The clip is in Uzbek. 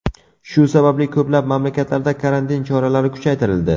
Shu sababli ko‘plab mamlakatlarda karantin choralari kuchaytirildi.